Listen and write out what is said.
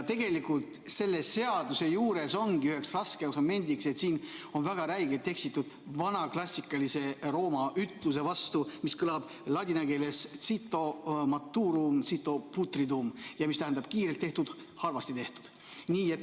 Tegelikult selle seaduse juures ongi üheks raskeks momendiks see, et siin on väga räigelt eksitud vana klassikalise Rooma ütluse vastu, mis kõlab ladina keeles cito maturum, cito putridum ja tähendab, et kiirelt tehtud, halvasti tehtud.